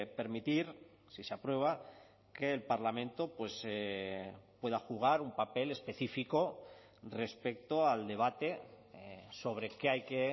permitir si se aprueba que el parlamento pueda jugar un papel específico respecto al debate sobre qué hay que